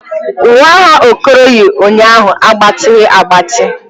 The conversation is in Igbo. Uwe agha Okoro yi ụnyaahụ agbatighi agbati.